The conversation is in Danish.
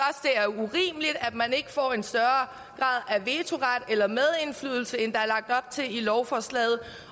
man ikke får en større grad af vetoret eller medindflydelse end der er lagt op til i lovforslaget